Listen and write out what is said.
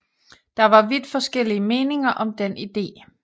Der var vidt forskellige meninger om den idé